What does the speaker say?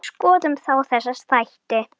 Skoðum þá þessa þætti.